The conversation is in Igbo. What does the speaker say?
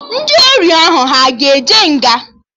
Ndị ori ahụ aga eje nga?